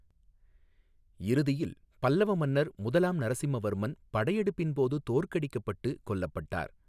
இறுதியில் பல்லவ மன்னர் முதலாம் நரசிம்மவர்மன் படையெடுப்பின் போது தோற்கடிக்கப்பட்டு கொல்லப்பட்டார்.